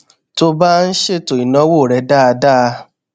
tó o bá ń ṣètò ìnáwó rẹ dáadáa